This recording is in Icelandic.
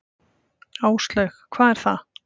Áslaug: Hvað er það?